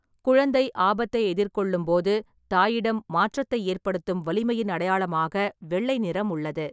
குழந்தை ஆபத்தை எதிர்கொள்ளும் போது தாயிடம் மாற்றத்தை ஏற்படுத்தும் வலிமையின் அடையாளமாக வெள்ளை நிறம் உள்ளது.